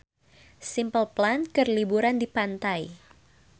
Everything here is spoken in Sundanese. Simple Plan keur liburan di pantai